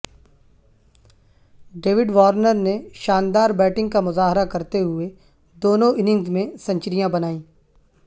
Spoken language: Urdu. ڈیوڈ وارنر نے شاندار بیٹنگ کا مظاہرہ کرتے ہوئے دونوں اننگز میں سنچریاں بنائیں